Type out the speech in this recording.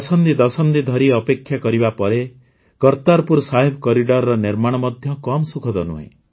ଦଶକ ଦଶକ ଧରି ଅପେକ୍ଷା କରିବା ପାଇଁ କର୍ତାରପୁର ସାହେବ କରିଡର୍ର ନିର୍ମାଣ ମଧ୍ୟ ସେତିକି ସୁଖଦ